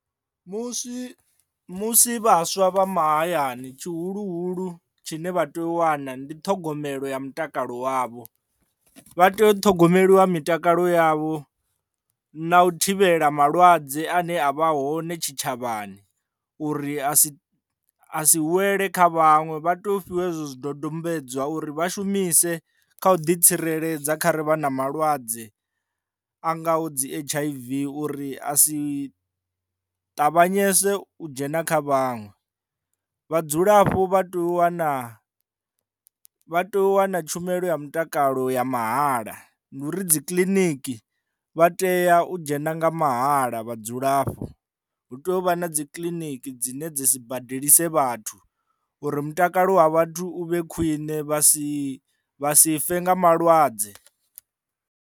Musi musi vhaswa vha mahayani tshihuluhulu tshine vha tea u wana ndi ṱhogomelo ya mutakalo wavho vha tea u ṱhogomeliwa mitakalo yavho na u thivhela malwadze ane a vha hone tshitshavhani uri a si a si wele kha vhaṅwe vha to fhiwa hezwi zwidodombedzwa uri vha shumise kha u ḓi tsireledza kha ri vha na malwadze a ngaho dzi H_I_V uri a si ṱavhanyese u dzhena kha vhaṅwe. Vhadzulapo vha tea u wana vha tea u wana tshumelo ya mutakalo ya mahala ndi uri dzi kiḽiniki vha tea u dzhena nga mahala vhadzulapo hu tea u vha na dzi kiḽiniki dzine dza si badelisa vhathu uri mutakalo wa vhathu u vhe khwine vha si vha si fe nga malwadze.